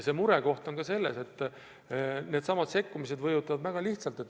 Mure on selles, et needsamad sekkumised mõjutavad väga lihtsalt.